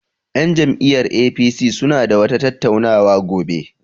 Yan jam'iyyar APC suna da wata tattauna wa gobe.